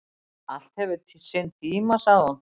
"""Allt hefur sinn tíma, sagði hún."""